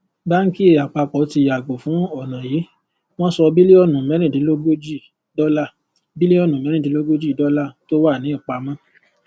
báńkì àpapọ ti yàgò fún ọnà yìí wọn sọ bílíọnù mẹẹrindínlógójì dọlà bílíọnù mẹẹrindínlógójì dọlà tó wà ní ìpamọ